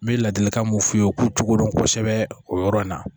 N bɛ ladilikan mun f'u ye u k'u cogo dɔn kosɛbɛ o yɔrɔ in na